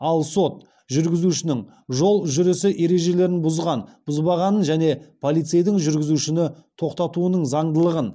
ал сот жүргізушінің жол жүрісі ережелерін бұзған бұзбағанын және полицейдің жүргізушіні тоқтатуының заңдылығын